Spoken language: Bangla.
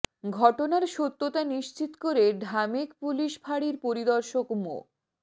ঘটনার সত্যতা নিশ্চিত করে ঢামেক পুলিশ ফাড়ির পরিদর্শক মো